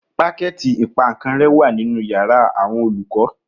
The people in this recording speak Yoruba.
Pákẹ̀tì ìpaǹkanrẹ́ kan wà nínu yàrá àwọn olùkọ́